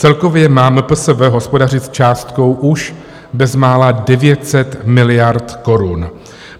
Celkově má MPSV hospodařit s částkou už bezmála 900 miliard korun.